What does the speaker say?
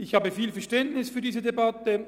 Ich habe viel Verständnis für diese Debatte.